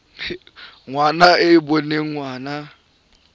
ngwana e e boneng ngwana